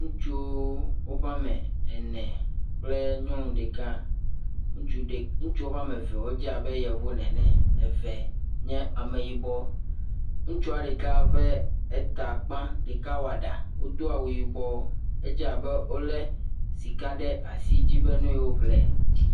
Woƒe woame ene, ŋutsuvi ɖeka, woame eve wodze abe yevu ene. Eve wodze abe ame yibɔ ene. Ŋutsua ƒe ta kpã, ɖeka woa ɖa. Wodo awu yibɔ, edze abe wokɔ sika ɖe asi dzi be ne yewo ƒle.